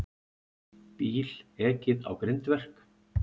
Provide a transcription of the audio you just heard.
Bíl ekið á grindverk